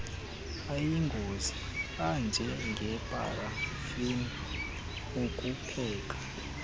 ayingozi anjengeparafini ukupheka